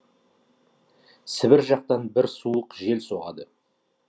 сібір жақтан бір суық жел соғады